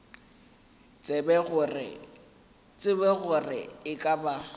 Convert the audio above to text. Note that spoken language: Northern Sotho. tsebe gore e ka ba